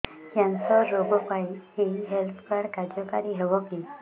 cancer ରୋଗ ପାଇଁ ଏଇ ହେଲ୍ଥ କାର୍ଡ କାର୍ଯ୍ୟକାରି ହେବ କି